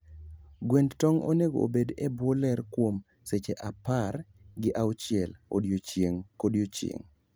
Gwend tong' onego obedo e bwo ler kuom seche apar gi auchiel odiechieng' kodiechieng'.